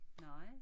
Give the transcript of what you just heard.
Nej